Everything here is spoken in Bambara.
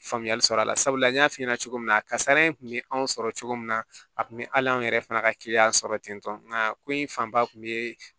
Faamuyali sɔrɔ a la sabula n y'a f'i ɲɛna cogo min na kasara in kun bɛ anw sɔrɔ cogo min na a tun bɛ hali an yɛrɛ fana ka kiliyan sɔrɔ ten tɔ nka ko in fanba tun bɛ